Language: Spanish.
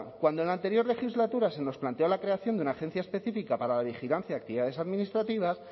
cuando en la anterior legislatura se nos planteó la creación de una agencia específica para la vigilancia de actividades administrativas